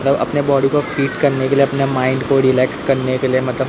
सब अपने बॉडी को हिट करने के लिए अपने माइंड को रिलैक्स करने के लिए मतलब--